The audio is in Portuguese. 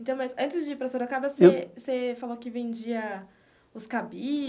Então, mas antes de ir para Sorocaba, você você falou que vendia os cabides.